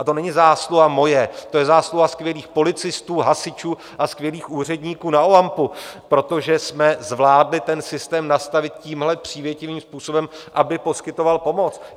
A to není zásluha moje, to je zásluha skvělých policistů, hasičů a skvělých úředníků na OAMP, protože jsme zvládli ten systém nastavit tímhle přívětivým způsobem, aby poskytoval pomoc.